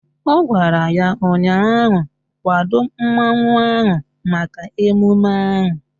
Ọ gwara ya ụnyaahụ " Kwado mmanwụ ahụ maka emume ahụ"!